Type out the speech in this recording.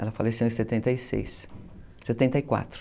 Ela faleceu em setenta e seis, setenta e quatro.